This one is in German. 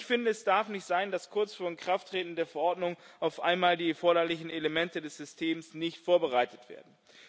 Ich finde, es darf nicht sein, dass kurz vor Inkrafttreten der Verordnung auf einmal die erforderlichen Elemente des Systems nicht vorbereitet werden.